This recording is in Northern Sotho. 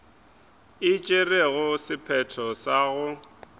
e tšerego sephetho sa go